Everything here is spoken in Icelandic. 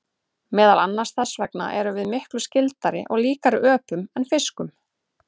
Meðal annars þess vegna erum við miklu skyldari og líkari öpum en fiskum.